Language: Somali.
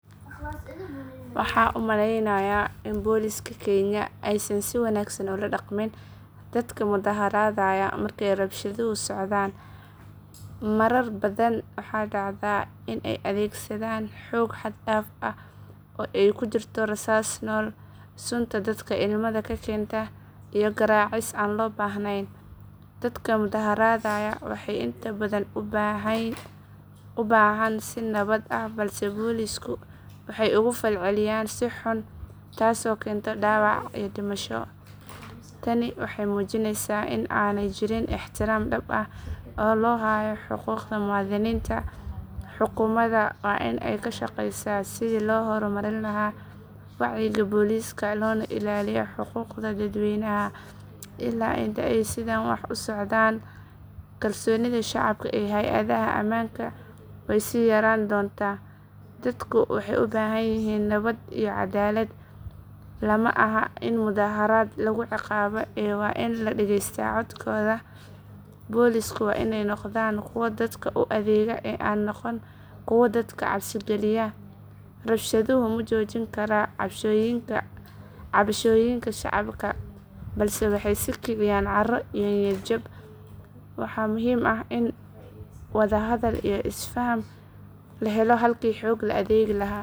Waxaan u malaynayaa in Booliska Kenya aysan si wanaagsan ula dhaqmin dadka mudaaharaadaya marka rabshaduhu socdaan. Marar badan waxaa dhacda in ay adeegsadaan xoog xad dhaaf ah oo ay ku jirto rasaas nool, sunta dadka ilmada ka keenta, iyo garaacis aan loo baahnayn. Dadka mudaaharaadaya waxay inta badan u baxaan si nabad ah balse Boolisku waxay uga falceliyaan si xun taasoo keenta dhaawac iyo dhimasho. Tani waxay muujinaysaa in aanay jirin ixtiraam dhab ah oo loo hayo xuquuqda muwaadiniinta. Xukuumadda waa in ay ka shaqaysaa sidii loo horumarin lahaa wacyiga booliska loona ilaaliyo xuquuqda dadweynaha. Ilaa inta ay sidaan wax u socdaan, kalsoonida shacabka ee hay’adaha ammaanka way sii yaraan doontaa. Dadku waxay u baahan yihiin nabad iyo caddaalad, lama aha in mudaaharaad lagu ciqaabo ee waa in la dhagaystaa codkooda. Boolisku waa inay noqdaan kuwa dadka u adeega ee aan noqon kuwo dadka cabsigaliya. Rabshaduhu ma joojin karaan cabashooyinka shacabka balse waxay sii kiciyaan caro iyo niyad jab. Waxaa muhiim ah in wada hadal iyo isfaham la helo halkii xoog la adeegi lahaa.